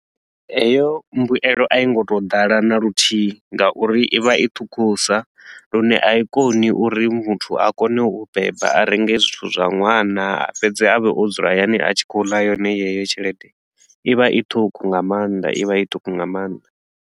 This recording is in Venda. Heyo mbuelo a i ngo tou ḓala na luthihi nga uri i vha i ṱhukhusa lune a i koni uri muthu a kone u beba a renge zwithu zwa ṅwana a fhedze a vhe o dzula hayani a tshi khou ḽa yone yeyo tshelede, i vha i ṱhukhu nga maanḓa i vha i ṱhukhu nga maanḓa.